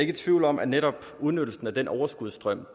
i tvivl om at netop udnyttelsen af den overskudsstrøm